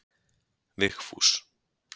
Vigfús